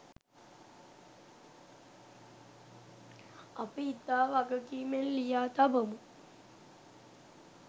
අපි ඉතා වගකීමෙන් ලියා තබමු.